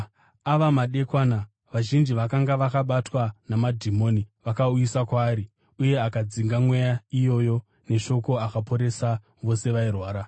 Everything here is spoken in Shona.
Ava madekwana, vazhinji vakanga vakabatwa namadhimoni vakauyiswa kwaari, uye akadzinga mweya iyoyo neshoko akaporesa vose vairwara.